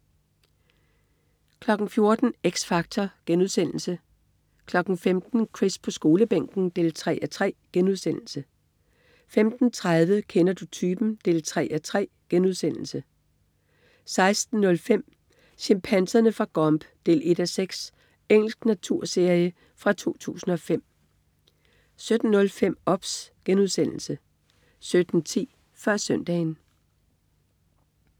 14.00 X Factor* 15.00 Chris på Skolebænken 3:3* 15.30 Kender du typen? 3:3* 16.05 Chimpanserne fra Gombe 1:6. Engelsk naturserie fra 2005 17.05 OBS* 17.10 Før Søndagen